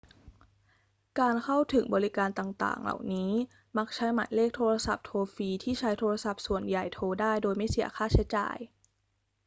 การเข้าถึงบริการต่าง ๆ เหล่านี้มักใช้หมายเลขโทรศัพท์โทรฟรีที่ใช้โทรศัพท์ส่วนใหญ่โทรได้โดยไม่เสียค่าใช้จ่าย